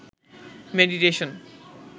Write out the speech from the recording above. meditation